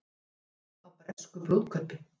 Áhugi á bresku brúðkaupi